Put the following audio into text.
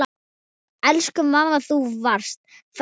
Elsku amma, þú varst frábær.